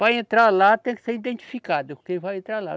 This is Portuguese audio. Para entrar lá tem que ser identificado quem vai entrar lá.